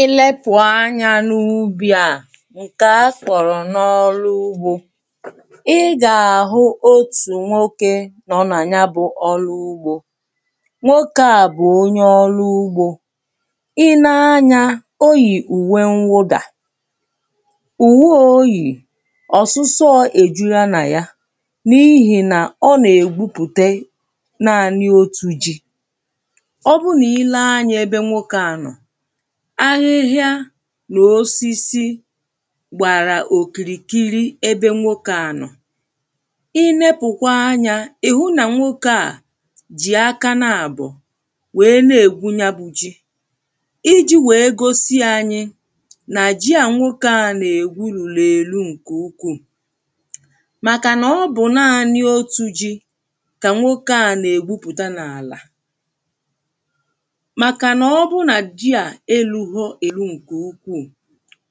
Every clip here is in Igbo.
Ilepù anyā n’ubi à ǹke akọ̀rọ̀ n’olụ ugbō ị gà-àhụ otù nwokē nọ nà nya bụ̄ ọlụ ugbō nwokē à bụ̀ onye ọlụ ugbō i lee anyā oyì ùwe mwụdà ùwe ā oyì ọ̀sịsọ èjula nà ya n’ihìnà ọ nà-ègwupùte naānị otū ji, ọ bụrụ nà i lee anyā ebe nwokē à nọ̀ ahịhịa nà osisi gbàrà òkìrìkiri ebe nwokē à nọ̀. I leepùkwa anyā ị̀ hụ nà nwokē à jì aka naàbọ̀ naàbọ̀ wèe na-ègwu nya bụ̄ ji, ijī wèe gosi anyị nà ji à nwokē à nà-ègwu lùlù èlu ǹkè ukwuù màkànà ọ bụ̀ naānị otū ji kà nwokē à nà-ègwupùta n’àlà Màkànà ọ bụ nà ji à elūghī èlu ǹkè ukwuù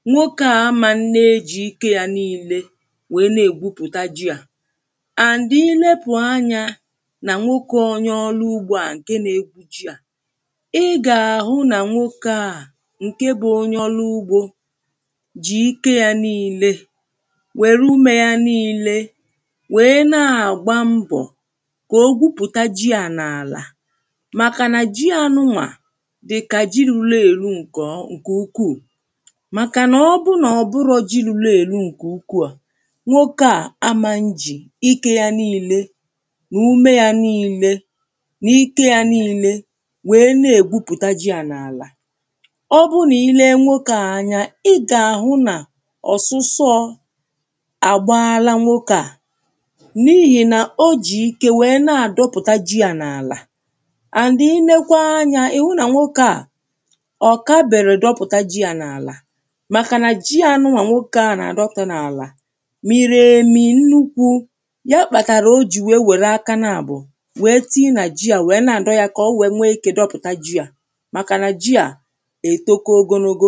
nwokē à amā nne ejì ike yā niīle wèe na-ègwupùta ji à, and i leepù anyā nà nwokē onye ọlụ ugbō à ǹke nā-egwu ji à ị gà-àhụ nà nwokē à ǹke bụ̄ onye ọlụ ugbō jì ike yā niīle nwère ume yā niīle wèe na-àgba mbọ̀ kà o gwupùta ji à n’àlà màkà nà ji ànụnwà dị̀kà ji lulu èlu ǹkè ukwuù màkànà ọ bụ nà ọ̀ bụrọ̄ ji lulu elu ǹkè ukwu à nwokē à amā njì ikē ya niīle nà ume yā niīle nà ike yā niīle wèe na-ègwupùta ji à n’àlà Ọ bụ nà ị lee nwokē à anya ị gà-àhụ nà ọ̀sịsọọ̄ àgbalaa nwokē à n’ihìnà o jì ike wèe na-àdọpụ̀ta ji à n’àlà and i leekwa anyā ị̀ hụ nà nwokē à ọ̀ kabèrò dọpụ̀ta ji à n’àlà màkànà ji ànụnwà nwokē à nà-àdọpụ̀ta n’àlà mìrì èmì nnukwū ya kpàtàrà o jì wèe wère aka naàbọ̀ wèe tinye nà ji à wèe na-àdọ yā kà o wèe nwee ikē dọpụ̀ta ji à màkànà ji à ètoko ogologo